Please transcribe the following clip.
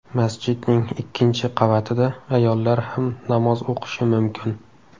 Masjidning ikkinchi qavatida ayollar ham namoz o‘qishi mumkin.